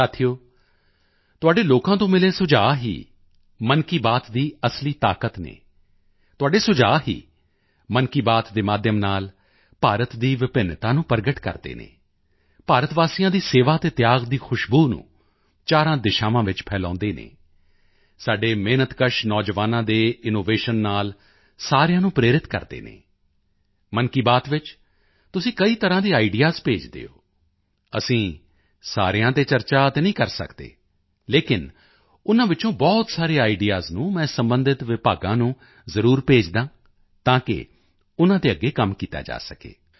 ਸਾਥੀਓ ਤੁਹਾਡੇ ਲੋਕਾਂ ਤੋਂ ਮਿਲੇ ਸੁਝਾਅ ਹੀ ਮਨ ਕੀ ਬਾਤ ਦੀ ਅਸਲੀ ਤਾਕਤ ਹਨ ਤੁਹਾਡੇ ਸੁਝਾਅ ਹੀ ਮਨ ਕੀ ਬਾਤ ਦੇ ਮਾਧਿਅਮ ਨਾਲ ਭਾਰਤ ਦੀ ਵਿਭਿੰਨਤਾ ਨੂੰ ਪ੍ਰਗਟ ਕਰਦੇ ਹਨ ਭਾਰਤ ਵਾਸੀਆਂ ਦੀ ਸੇਵਾ ਅਤੇ ਤਿਆਗ ਦੀ ਖੁਸ਼ਬੂ ਨੂੰ ਚਾਰਾਂ ਦਿਸ਼ਾਵਾਂ ਵਿੱਚ ਫੈਲਾਉਂਦੇ ਹਨ ਸਾਡੇ ਮਿਹਨਤਕਸ਼ ਨੌਜਵਾਨਾਂ ਦੇ ਇਨੋਵੇਸ਼ਨ ਨਾਲ ਸਾਰਿਆਂ ਨੂੰ ਪ੍ਰੇਰਿਤ ਕਰਦੇ ਹਨ ਮਨ ਕੀ ਬਾਤ ਵਿੱਚ ਤੁਸੀਂ ਕਈ ਤਰ੍ਹਾਂ ਦੇ ਆਈਡੀਈਏਐਸ ਭੇਜਦੇ ਹੋ ਅਸੀਂ ਸਾਰਿਆਂ ਤੇ ਤਾਂ ਚਰਚਾ ਨਹੀਂ ਕਰ ਸਕਦੇ ਲੇਕਿਨ ਉਨ੍ਹਾਂ ਵਿੱਚੋਂ ਬਹੁਤ ਸਾਰੇ ਆਈਡੀਈਏਐਸ ਨੂੰ ਮੈਂ ਸਬੰਧਿਤ ਵਿਭਾਗਾਂ ਨੂੰ ਜ਼ਰੂਰ ਭੇਜਦਾ ਹਾਂ ਤਾਂ ਕਿ ਉਨ੍ਹਾਂ ਤੇ ਅੱਗੇ ਕੰਮ ਕੀਤਾ ਜਾ ਸਕੇ